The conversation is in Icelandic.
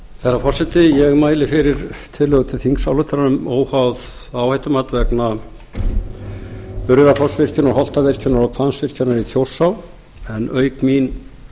herra forseti ég mæli fyrir tillögu til þingsályktunar um óháð áhættumat vegna urriðafossvirkjunar holtavirkjunar og hvammsvirkjunar í þjórsá auk mín